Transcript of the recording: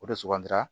O de sugandira